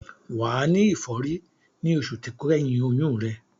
Wà á ní ìfọ́rí ní oṣù tó kẹ́yìn oyún rẹ.